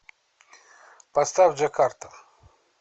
сбер поставь джакарта